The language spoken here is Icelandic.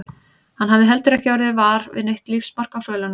Hann hafði heldur ekki orðið var við neitt lífsmark á svölunum.